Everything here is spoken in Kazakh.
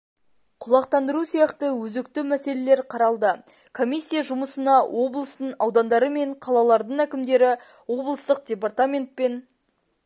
құлақтандыру сияқты өзекті мәселелер қаралды комиссия жұмысына облыстың аудандары мен қалалардың әкімдері облыстық департамент пен